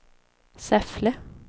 Säffle